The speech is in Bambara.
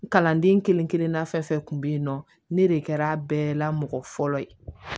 Kalanden kelen kelenna fɛn fɛn kun be yen nɔ ne de kɛra a bɛɛ la mɔgɔ fɔlɔ ye